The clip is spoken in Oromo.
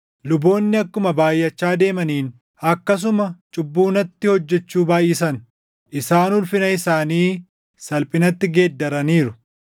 Luboonni akkuma baayʼachaa deemaniin, akkasuma cubbuu natti hojjechuu baayʼisan; isaan ulfina isaanii salphinatti geeddaraniiru.